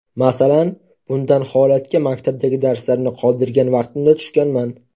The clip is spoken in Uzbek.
Masalan, bundan holatga maktabdagi darslarni qoldirgan vaqtimda tushganman.